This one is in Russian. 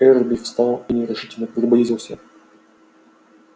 эрби встал и нерешительно приблизился